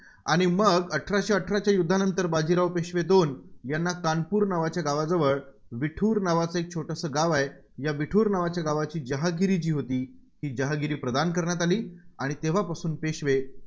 आणि मग अठराशे अठराच्या युद्धानंतर बाजीराव पेशवे दोन यांना कानपूर नावाच्या गावाजवळ विठूर छोटसं गाव आहे, या विठूर नावाच्या गावाची जहागिरी जी होती, ती जहागिरी प्रदान करण्यात आली, आणि तेव्हापासून पेशवे